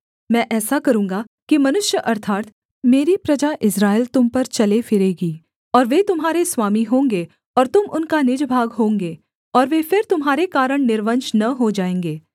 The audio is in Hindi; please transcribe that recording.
मैं ऐसा करूँगा कि मनुष्य अर्थात् मेरी प्रजा इस्राएल तुम पर चलेफिरेगी और वे तुम्हारे स्वामी होंगे और तुम उनका निज भाग होंगे और वे फिर तुम्हारे कारण निर्वंश न हो जाएँगे